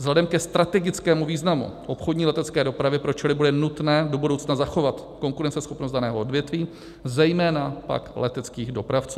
Vzhledem ke strategickému významu obchodní letecké dopravy pro ČR bude nutné do budoucna zachovat konkurenceschopnost daného odvětví, zejména pak leteckých dopravců.